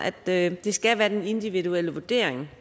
at det skal være den individuelle vurdering